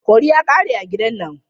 Curry ya ƙare a gidan nan.